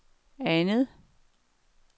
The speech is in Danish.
andet